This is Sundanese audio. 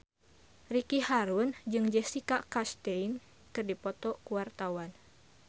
Ricky Harun jeung Jessica Chastain keur dipoto ku wartawan